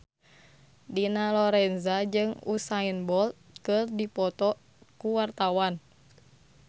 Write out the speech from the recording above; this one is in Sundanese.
Dina Lorenza jeung Usain Bolt keur dipoto ku wartawan